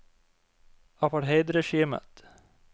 apartheidregimet